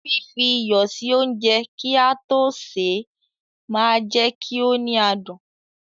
Fífi iyọ̀ sí oúnjẹ kí a tó sè é máa jẹ kí ó ní adùn.